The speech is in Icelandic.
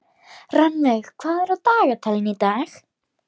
Rannveig, hvað er á dagatalinu í dag?